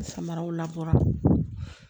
Samaraw labɔra